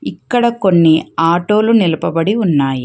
ఇక్కడ కొన్ని ఆటోలు నిలబడి ఉన్నాయి.